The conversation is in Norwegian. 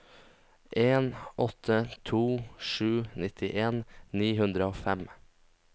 en åtte to sju nittien ni hundre og fem